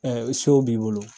isow b'i bolo